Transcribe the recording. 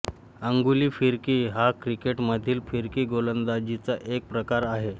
अंगुली फिरकी हा क्रिकेटमधील फिरकी गोलंदाजीचा एक प्रकार आहे